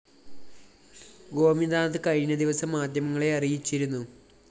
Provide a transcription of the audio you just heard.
ഗോപിനാഥ്‌ കഴിഞ്ഞദിവസം മാധ്യമങ്ങളെ അറിയിച്ചിരുന്നു